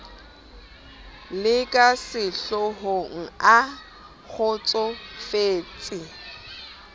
le ka sehlohong a kgotsofetse